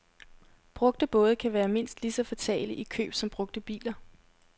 Brugte både kan være mindst lige så fatale i køb som brugte biler.